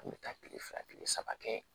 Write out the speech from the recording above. An bɛ taa kile fila kile saba kɛ